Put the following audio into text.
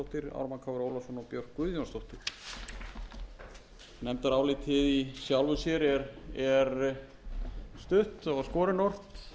ólafsson og björk guðjónsdóttir nefndarálitið í sjálfu sér stutt og skorinort